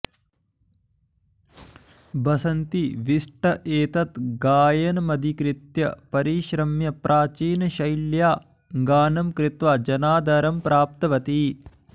बसन्ती बिस्ट् एतत् गायनमधिकृत्य परिश्रम्य प्राचीनशैल्या गानं कृत्वा जनादरं प्राप्तवती